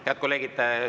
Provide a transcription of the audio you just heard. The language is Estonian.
Head kolleegid!